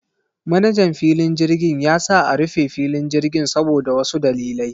Manajan filin jirgin ya sa a rufe filin jirgin saboda wasu dalilai.